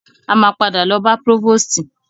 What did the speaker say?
A máa padà lọ bá prọ́vòstì.